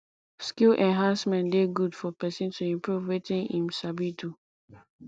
skill enhancement de good for persin to improve wetin im sabi do